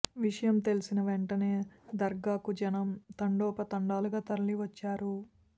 విషయం తెలిసిన వెంటనే దర్గాకు జనం తండోపతండాలుగా తరలి వచ్చారు